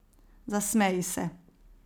Zasmeji se.